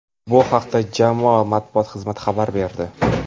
Bu haqda jamoa Matbuot xizmati xabar berdi.